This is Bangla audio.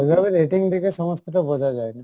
ওইভাবে rating দেখে সমস্ত টা বোঝা যাই না।